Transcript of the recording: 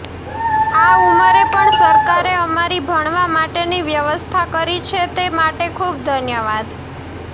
આ ઉંમરે પણ સરકારે અમારી ભણવા માટેની વ્યવસ્થા કરી છે તે માટે ખૂબ ઘન્યવાદ